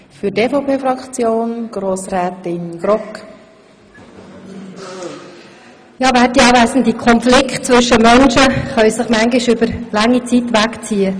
Konflikte zwischen Menschen können sich manchmal über lange Zeit hinziehen.